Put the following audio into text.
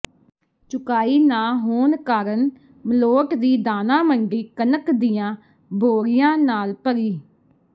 ਚੁਕਾਈ ਨਾ ਹੋਣ ਕਾਰਨ ਮਲੋਟ ਦੀ ਦਾਣਾ ਮੰਡੀ ਕਣਕ ਦੀਆਂ ਬੋਰੀਆਂ ਨਾਲ ਭਰੀ